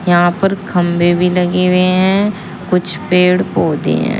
यहां पर खंभे भी लगे हुए हैं कुछ पेड़ पौधे हैं।